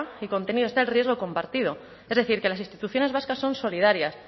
y contenido está el riesgo compartido es decir que las instituciones vascas son solidarias